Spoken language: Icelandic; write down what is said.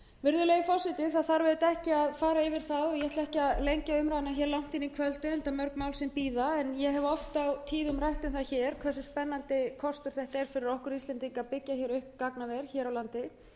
virðulegi forseti ég ætla ekki að draga umræðuna langt fram á kvöld enda mörg mál sem bíða en ég hef oft og tíðum rætt um það hversu spennandi kostur það er fyrir okkur íslendinga að byggja upp gagnaver hér á landi